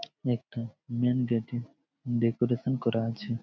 একটা মেইন গেটে ডেকোরেশন করা আছে ।